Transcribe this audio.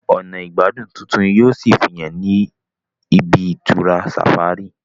ọnà igbadun títún yíò sí fihàn ní ibi-itura safari